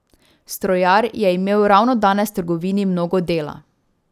Strojar je imel ravno danes v trgovini mnogo dela.